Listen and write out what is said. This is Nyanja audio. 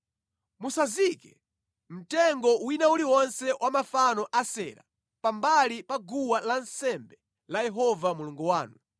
Musazike mtengo wina uliwonse wa mafano a Asera pambali pa guwa lansembe la Yehova Mulungu wanu,